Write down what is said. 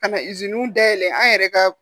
Ka na dayɛlɛ an yɛrɛ ka